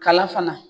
Kala fana